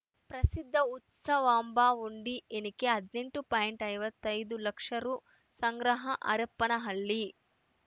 ಪ್ರಸಿದ್ಧ ಉತ್ಸವಾಂಬ ಹುಂಡಿ ಎಣಿಕೆ ಹದಿನೆಂಟು ಪಾಯಿಂಟ್ ಐವತ್ತೈ ದು ಲಕ್ಷ ರು ಸಂಗ್ರಹ ಹರಪನಹಳ್ಳಿ